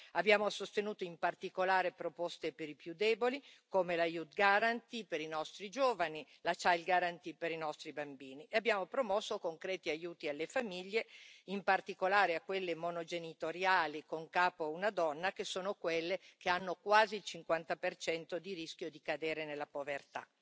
Abbiamo sostenuto, in particolare, proposte per i più deboli come la Youth Guarantee per i nostri giovani, la Child Guarantee per i nostri bambini, e abbiamo promosso concreti aiuti alle famiglie, in particolare a quelle monogenitoriali con a capo una donna che sono quelle che hanno quasi il 50 di rischio di cadere nella povertà.